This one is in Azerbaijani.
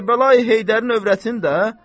Kərbəlayı Heydərin övrətini də.